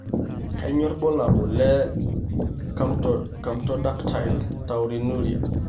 Kainyio irbulabul onaapuku eCamptodactyly taurinuria?